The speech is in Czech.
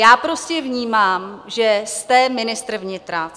Já prostě vnímám, že jste ministr vnitra.